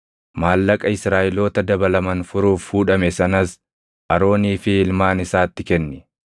Maallaqa Israaʼeloota dabalaman furuuf fuudhame sanas Aroonii fi ilmaan isaatti kenni.”